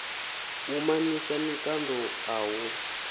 u mamisa mikando a hu